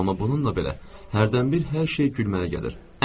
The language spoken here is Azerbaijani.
Amma bununla belə hərdən bir hər şey gülməli gəlir.